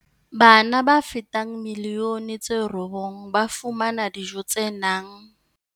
Bana ba fetang milioni tse robong ba fumana dijo tse nang.